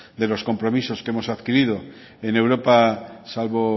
de los compromisos que hemos adquirido en europa salvo